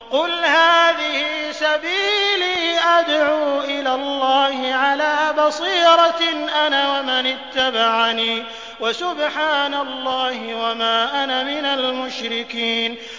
قُلْ هَٰذِهِ سَبِيلِي أَدْعُو إِلَى اللَّهِ ۚ عَلَىٰ بَصِيرَةٍ أَنَا وَمَنِ اتَّبَعَنِي ۖ وَسُبْحَانَ اللَّهِ وَمَا أَنَا مِنَ الْمُشْرِكِينَ